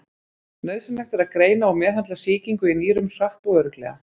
Nauðsynlegt er að greina og meðhöndla sýkingu í nýrum hratt og örugglega.